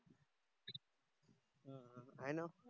आहे न